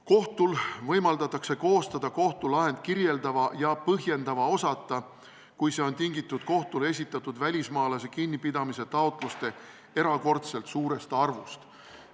Kohtul võimaldatakse koostada kohtulahend kirjeldava ja põhjendava osata, kui see on tingitud kohtule esitatud välismaalase kinnipidamise taotluste erakordselt suurest arvust.